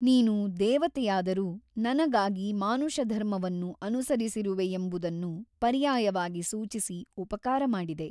ನೀನು ದೆವತೆಯಾದರೂ ನನಗಾಗಿ ಮಾನುಷಧರ್ಮವನ್ನು ಅನುಸರಿಸಿರುವೆಯೆಂಬುದನ್ನು ಪರ್ಯಾಯವಾಗಿ ಸೂಚಿಸಿ ಉಪಕಾರ ಮಾಡಿದೆ.